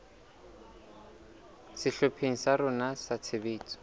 sehlopheng sa rona sa tshebetso